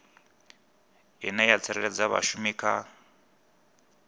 ine ya tsireledza vhashumi kha